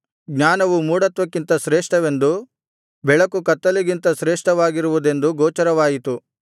ಜ್ಞಾನವು ಮೂಢತ್ವಕ್ಕಿಂತ ಶ್ರೇಷ್ಠವೆಂದು ಬೆಳಕು ಕತ್ತಲಿಗಿಂತ ಶ್ರೇಷ್ಠವಾಗಿರುವುದೆಂದು ಗೋಚರವಾಯಿತು